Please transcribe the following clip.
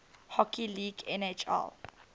hockey league nhl